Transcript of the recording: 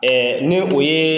ni o ye